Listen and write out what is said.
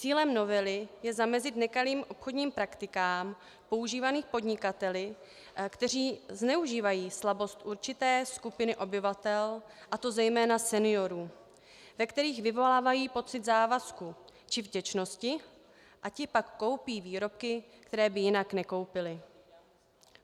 Cílem novely je zamezit nekalým obchodním praktikám používaným podnikateli, kteří zneužívají slabost určité skupiny obyvatel, a to zejména seniorů, ve kterých vyvolávají pocit závazků či vděčnosti, a ti pak koupí výrobky, které by jinak nekoupili.